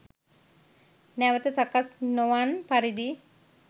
නැවත සකස් නොවන් පරිදි